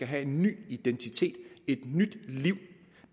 have en ny identitet et nyt liv